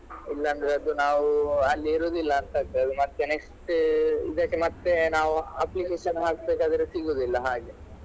ಇಲ್ಲಾಂದ್ರೆ ಅದು ನಾವು ಅಲ್ಲಿ ಇರುದಿಲ್ಲ ಅಂತ ಆಗ್ತದೆ ಮತ್ತೆ next ಇದಕ್ಕೆ ಮತ್ತೆ ನಾವು application ಹಾಕ್ಬೇಕಾದ್ರೆ ಸಿಗುದಿಲ್ಲ ಹಾಗೆ.